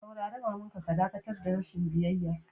Saurare mama'n ka ka dakatar da rashin biyyaya!